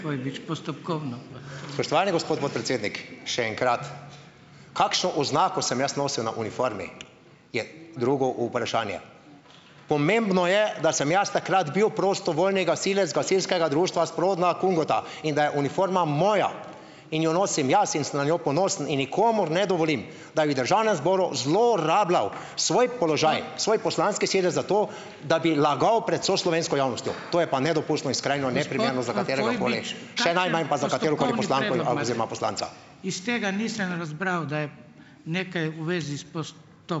Spoštovani gospod podpredsednik, še enkrat. Kakšno oznako sem jaz nosil na uniformi, je drugo vprašanje. Pomembno je, da sem jaz takrat bil prostovoljni gasilec gasilskega društva Spodnja Kungota in da je uniforma moja in jo nosim jaz in sem na njo ponosen in nikomur ne dovolim, da bi v državnem zboru zlorabljal svoj, svoj poslanski sedež zato, da bi lagal pred vso slovensko javnostjo, to je pa nedopustno in